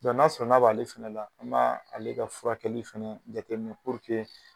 Dɔ n'a sɔrɔ n'a b'ale fɛnɛ la an b'aa ale ka furakɛli fɛnɛ jateminɛ